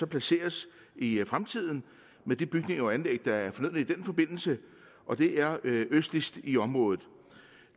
placeres i fremtiden med de bygninger og anlæg der er fornødne i den forbindelse og det er østligst i området